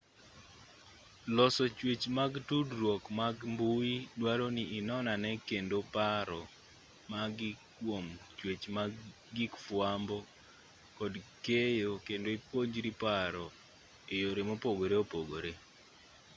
loso chwech mag tudruok mag mbui duaro ni inonane kendo paro magi kwom chwech mag gig fwambo kod keyo kendo ipuonjri paro e yore mopogore opogore